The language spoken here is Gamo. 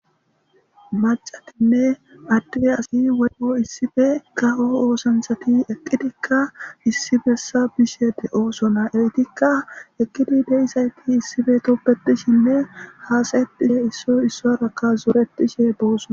Macatinne adde asay woyko issippe kawo ooththanchati ekidika issi bessa bishe de'ossona eetikka eqqidi da'izayti issippe tobbetishshene hasae'tishe issoy isoraka zoretishe dossona.